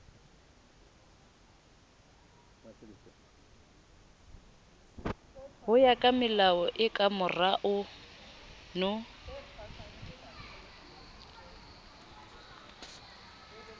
hoya kamelao e kamorao no